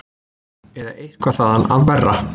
Eða eitthvað þaðan af verra.